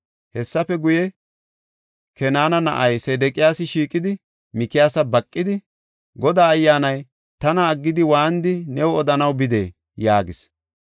Hessafe guye, Kenaana na7ay Sedeqiyaasi shiiqidi, Mikiyaasa baqidi, “Godaa Ayyaanay tana aggidi waanidi new odanaw bidee?” yaagis.